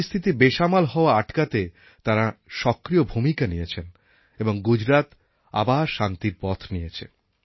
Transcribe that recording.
পরিস্থিতির বেসামাল হওয়া আটকাতে তাঁরা সক্রিয় ভূমিকা নিয়েছেন এবং গুজরাত আবার শান্তির পথ নিয়েছে